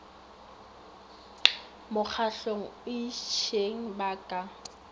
mokgahlong o itšeng ba ka